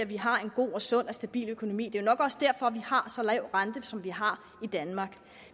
vi har en god og sund og stabil økonomi det er jo nok også derfor at vi har så lav rente som vi har i danmark